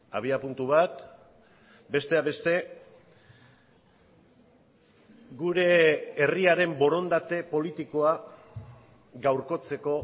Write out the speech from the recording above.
abiapuntu bat besteak beste gure herriaren borondate politikoa gaurkotzeko